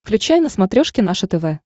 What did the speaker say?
включай на смотрешке наше тв